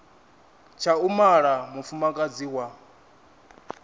tsha u mala mufumakadzi wa